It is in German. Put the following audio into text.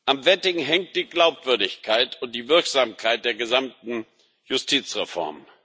Am Vetting hängt die Glaubwürdigkeit und die Wirksamkeit der gesamten Justizreform.